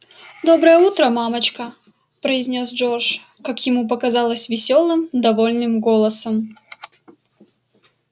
доброе утро мамочка произнёс джордж как ему показалось весёлым довольным голосом